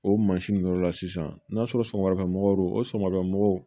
O mansin nin yɔrɔ la sisan n'a sɔrɔ samarafɛn mɔgɔw don o sama mɔgɔw